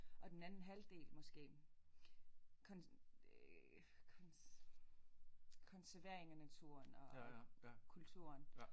Og den anden halvdel måske konservering af naturen og kulturen